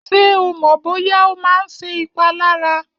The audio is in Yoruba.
Ṣé o mọ̀ bóyá ó máa ń ṣe ìpalára?